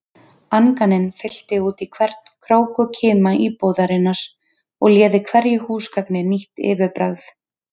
Anganin fyllti útí hvern krók og kima íbúðarinnar og léði hverju húsgagni nýtt yfirbragð.